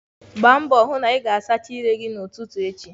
Gbaa mbọ hụ na ị sachaa ire gị n'ụtụtụ echi.